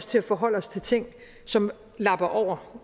til at forholde os til ting som lapper over